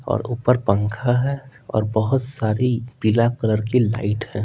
और ऊपर पंखा है और बहुत सारी पीला कलर की लाइट है।